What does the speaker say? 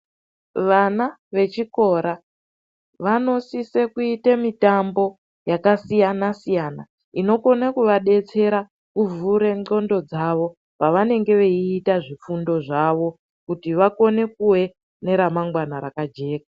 Vana vechikora vanosise kuite mitambo yakasiyana-siyana inokone kuvadetsera kuvhure ndxondo dzavo pavanenge veyiita zvifundo zvavo kuti vakone kuve neramangwana rakajeka.